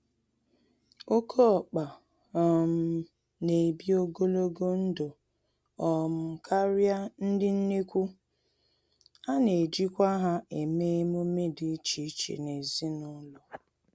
Oké ọkpa um n'ebi ogologo ndụ um karịa ndị nnekwu, anejikwa ha eme emume dị iche iche nezinụlọ.